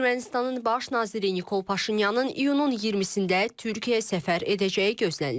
Ermənistanın baş naziri Nikol Paşinyanın iyunun 20-də Türkiyəyə səfər edəcəyi gözlənilir.